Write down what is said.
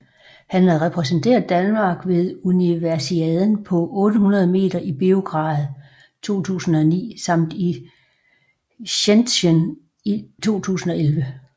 Han har repræsenteret Danmark ved Universiaden på 800 meter i Beograd 2009 samt i Shenzhen 2011